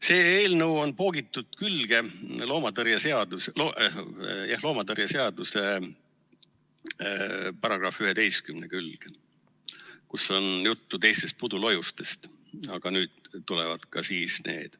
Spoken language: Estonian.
See eelnõu on poogitud loomatauditõrje seaduse § 11 külge, kus on juttu teistest pudulojustest, aga nüüd tulevad ka siis need.